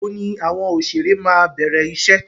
Ìgbà wo ni àwọn òṣèré máa bẹ̀rẹ̀ iṣẹ́?